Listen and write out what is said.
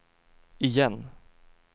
igen